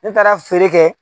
Ne taara feere kɛ